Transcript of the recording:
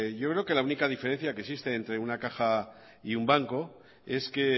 yo creo que la única diferencia que existe entre una caja y un banco es que